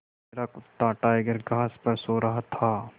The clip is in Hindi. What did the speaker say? मेरा कुत्ता टाइगर घास पर सो रहा था